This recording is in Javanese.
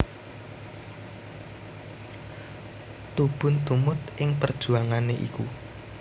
Tubun tumut ing perjuangan iku